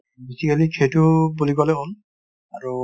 basically সেইটোও বুলি ক'লে হ'ল